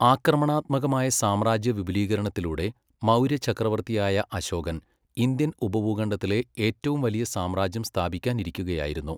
ആക്രമണാത്മകമായ സാമ്രാജ്യവിപുലീകരണത്തിലൂടെ, മൗര്യചക്രവർത്തിയായ അശോകൻ ഇന്ത്യൻ ഉപഭൂഖണ്ഡത്തിലെ ഏറ്റവും വലിയ സാമ്രാജ്യം സ്ഥാപിക്കാനിരിക്കുകയായിരുന്നു.